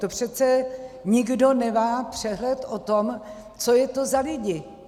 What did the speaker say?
To přece nikdo nemá přehled o tom, co je to za lidi.